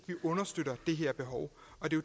understøtter det her behov